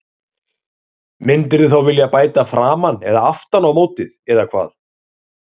Myndirðu þá vilja bæta framan eða aftan á mótið eða hvað?